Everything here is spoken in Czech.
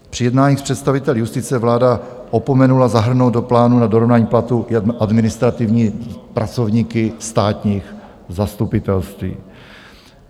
Při jednáních s představiteli justice vláda opomenula zahrnout do plánu na dorovnání platů administrativní pracovníky státních zastupitelství.